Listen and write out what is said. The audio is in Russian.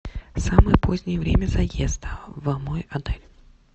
самое позднее время заезда в мой отель